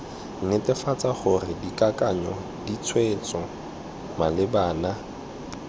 netefatsa gore dikakanyo ditshwetso malebana